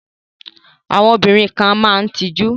Àwọn obìnrin kan a máa tijú.